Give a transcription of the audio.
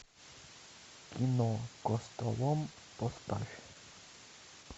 кино костолом поставь